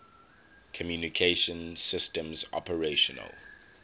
communication systems operational